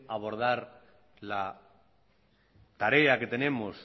abordar la tarea que tenemos